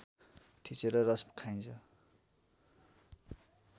थिचेर रस खाइन्छ